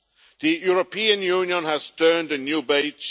The European Union has turned a new page.